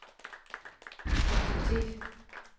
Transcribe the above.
aktivitet